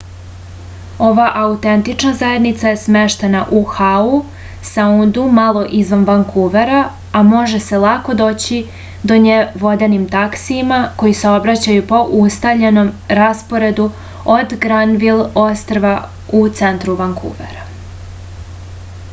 ova autentična zajednica je smeštena u hau saundu malo izvan vankuvera a može se lako doći do nje vodenim taksijima koji saobraćaju po ustaljenom rasporedu od granvil ostrva u centru vankuvera